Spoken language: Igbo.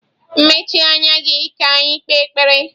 Mechie anya gị ka anyị kpee ekpere!